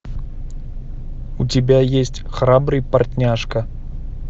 у тебя есть храбрый портняжка